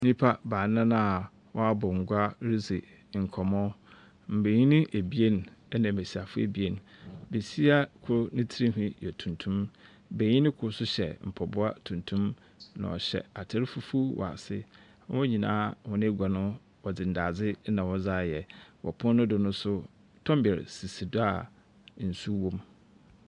Nnipa baanan a wɔabɔ gua redzi nkɔmmɔ. Mmenyin ebien ɛna mmesiafoɔ ebien. Besia kor ne tiri nhwii yɛ tuntum. Benyin kor nso hyɛ mpaboa tuntum, na ɔhyɛ ataar fufu wɔ ase. Hɔn nyinaa hɔn agua no wɔdze ndadze na wɔdze ayɛ. Wɔ pono no do nso tɔmbɛ sisi do a nsu wom.